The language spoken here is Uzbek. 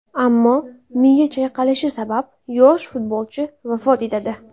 Ammo miya chayqalishi sabab yosh futbolchi vafot etadi.